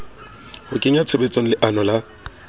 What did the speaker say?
ho kenya tshebetsong leano la